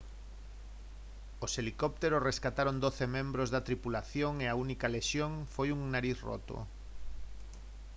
os helicópteros rescataron doce membros da tripulación e a única lesión foi un nariz roto